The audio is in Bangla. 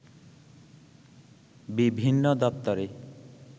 বিভিন্ন দপ্তরে